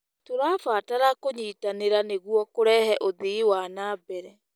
Tũrabatara kũnyitanĩra nĩguo kũrehe ũthii wa na mbere.